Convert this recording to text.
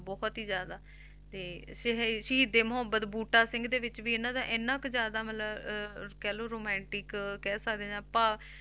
ਬਹੁਤ ਹੀ ਜ਼ਿਆਦਾ ਤੇ ਸ~ ਸ਼ਹੀਦੇ ਮੁਹੱਬਤ ਬੂਟਾ ਸਿੰਘ ਦੇ ਵਿੱਚ ਵੀ ਇਹਨਾਂ ਦਾ ਇੰਨਾ ਕੁ ਜ਼ਿਆਦਾ ਮਤਲਬ ਅਹ ਕਹਿ ਲਓ romantic ਕਹਿ ਸਕਦੇ ਜਾਂ ਭਾ~